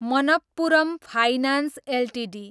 Manappuram finance Ltd